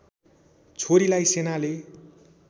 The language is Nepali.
छोरीलाई सेनाले